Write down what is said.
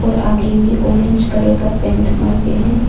आगे में orange colour का पेंट मारके हैं।